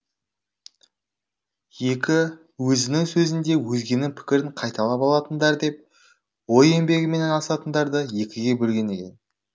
екі өзінің сөзінде өзгенің пікірін қайталап алатындар деп ой еңбегімен айналысатындарды екіге бөлген екен